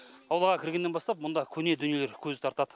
аулаға кіргеннен бастап мұнда көне дүниелер көз тартады